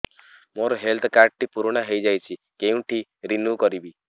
ମୋ health card ଟି ପୁରୁଣା ହେଇଯାଇଛି କେଉଁଠି ରିନିଉ କରିବି